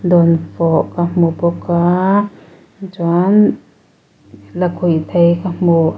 dawnfawh ka hmu bawk a tichuan lakhuihthei ka hmu a--